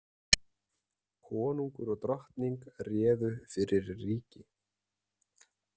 Konungur og drottning réðu fyrir ríki.